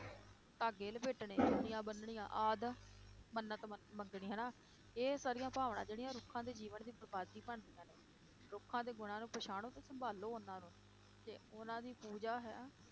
ਧਾਗੇ ਲਪੇਟਣੇ ਚੁੰਨੀਆਂ ਬੰਨਣੀਆਂ ਆਦਿ ਮੰਨਤ ਮ~ ਮੰਗਣੀ ਹਨਾ, ਇਹ ਸਾਰੀਆਂ ਭਾਵਨਾ ਜਿਹੜੀਆਂ ਰੁੱਖਾਂ ਦੇ ਜੀਵਨ ਦੀ ਬਰਬਾਦੀ ਬਣਦੀਆਂ ਨੇ, ਰੁੱਖਾਂ ਦੇ ਗੁਣਾਂ ਨੂੰ ਪਛਾਣੋ ਤੇ ਸੰਭਾਲੋ ਉਹਨਾਂ, ਤੇ ਉਹਨਾਂ ਦੀ ਪੂਜਾ ਹੈ